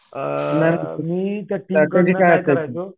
मग मी काय करायचो